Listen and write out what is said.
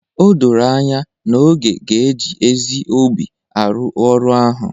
O doro anya na Oge ga-eji ezi obi arụ ọrụ ahụ